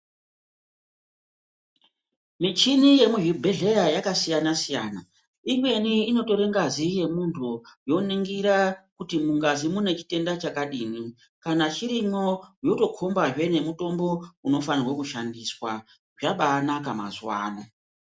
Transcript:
Michini yemuzvibhedhlera yakasiyana siyana imweni inotora ngazi yemuntu yoningira kuti mungazi mune chitenda chakadii kana chirimwo yotokomazve nemutombo unofanwa kushandiswa zvabainaka mazuwa ano .